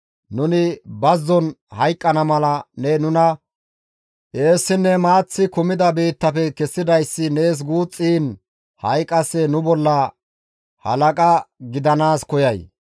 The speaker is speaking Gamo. Nuni bazzon hayqqana mala ne nuna eessinne maaththi kumida biittafe kessidayssi nees guuxxiin ha7i qasse nu bolla halaqa gidanaas koyay?